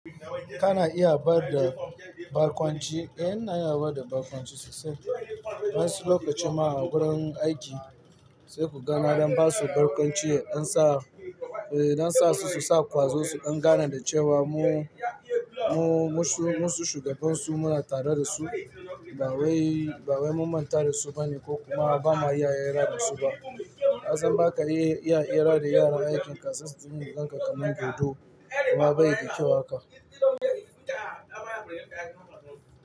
Kana iya bada barkwanci, eh na iya bada barkwanci sosai. Wansu lokacin ma a wurin aiki sai ku ga na dan basu barkwanci, don sa, eh dan sa su, su sa kwazo su, don ganar dace wa mu, mu, musu, musu shugaban su muna tare da su. Ba wai, ba wai mun manta da su bane ko kuma bamu iya hera da su ba. Kasan baka iya, iya, iya hira da yaran aikin sai su dunga ganka kaman godo kuma bayi da kyau haka.